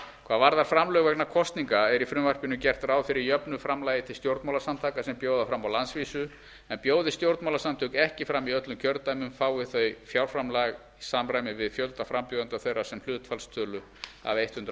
hvað varðar framlög vegna kosninga er í frumvarpinu gert ráð fyrir jöfnu framlagi til stjórnmálasamtaka sem bjóða fram á landsvísu en bjóði stjórnmálasamtök ekki fram í öllum kjördæmum fái þau fjárframlag í samræmi við fjölda frambjóðenda þeirra sem hlutfallstölu af hundrað